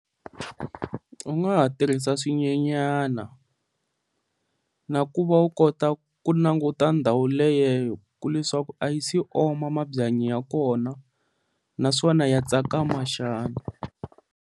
U nga ha tirhisa swinyenyana na ku va u kota ku languta ndhawu leyi ku leswaku a yi si oma mabyanyi ya kona, naswona ya tsakama xana.